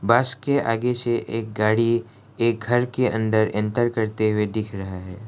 बस के आगे से एक गाड़ी एक घर के अंदर इंटर करते हुए दिख रहा है।